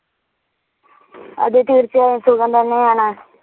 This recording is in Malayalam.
അതെ തീർച്ചയായും സുഖം തന്നെ ആണ്